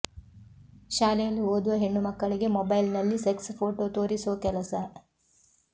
ಶಾಲೆಯಲ್ಲಿ ಓದುವ ಹೆಣ್ಣು ಮಕ್ಕಳಿಗೆ ಮೊಬೈಲ್ನಲ್ಲಿ ಸೆಕ್ಸ್ ಫೋಟೋ ತೋರಿಸೋ ಕೆಲಸ